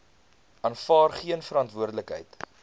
aanvaar geen verantwoordelikheid